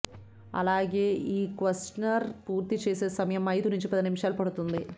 అలాగే ఈ క్వశ్చనర్ పూర్తి చేసే సమయం ఐదు నుంచి పది నిమిషాలు పడుతుంది